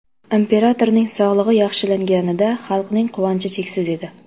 Imperatorning sog‘lig‘i yaxshilanganida xalqning quvonchi cheksiz edi.